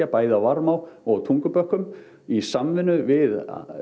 bæði á Varmá og Tungubökkum í samvinnu við